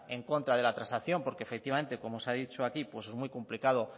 en contra de la transacción porque efectivamente como se ha dicho aquí es muy complicado